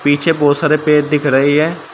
पीछे बहुत सारे पेड़ दिख रहे है।